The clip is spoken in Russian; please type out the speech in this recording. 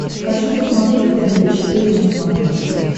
хочу посмотреть тнт четыре на смотрешке